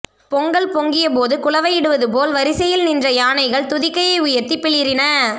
பொங்கல் பொங்கியபோது குலவையிடுவதுபோல் வரிசையில் நின்ற யானைகள் துதிக்கையை உயர்த்தி பிளிறின